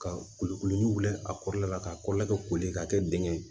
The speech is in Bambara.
Ka kulukulu wili a kɔrɔla la k'a kɔrɔla kɛ koli ka kɛ dengɛ ye